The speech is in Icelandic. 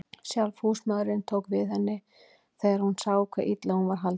Sjálf húsmóðirin tók við henni þegar hún sá hve illa hún var haldin.